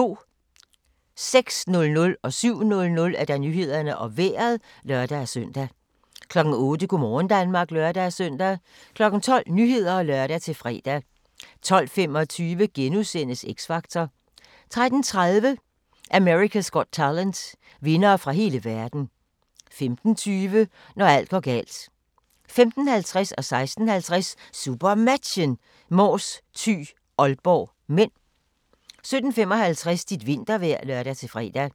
06:00: Nyhederne og Vejret (lør-søn) 07:00: Nyhederne og Vejret (lør-søn) 08:00: Go' morgen Danmark (lør-søn) 12:00: Nyhederne (lør-fre) 12:25: X Factor * 13:30: America's Got Talent - vindere fra hele verden 15:20: Når alt går galt 15:50: SuperMatchen: Mors-Thy - Aalborg (m) 16:50: SuperMatchen: Mors-Thy - Aalborg (m) 17:55: Dit vintervejr (lør-fre)